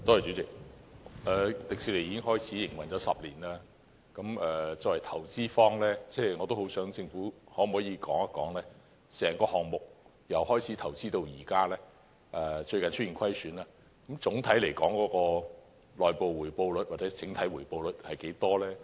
主席，迪士尼已經營運了10年，政府作為投資一方可否告訴本會從開始進行投資，直至最近出現虧損，整個項目的內部或整體回報率為何？